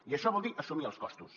i això vol dir assumir els costos